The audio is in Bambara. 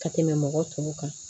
Ka tɛmɛ mɔgɔ tɔw kan